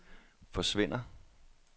forsvinder